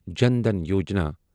Jan Dhan Yojana